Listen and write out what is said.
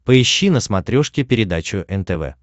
поищи на смотрешке передачу нтв